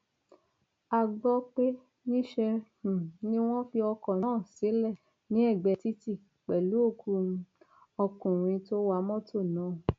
a gbọ pé níṣẹ um ni wọn fi ọkọ náà sílẹ ní ẹgbẹ títì pẹlú òkú um ọkùnrin tó wa mọtò náà